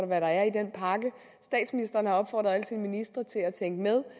hvad der er i den pakke statsministeren har opfordret alle sine ministre til at tænke med